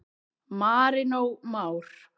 Marinó Már.